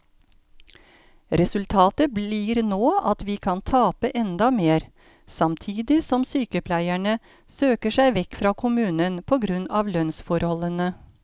Resultatet blir nå at vi kan tape enda mer, samtidig som sykepleierne søker seg vekk fra kommunen på grunn av lønnsforholdene.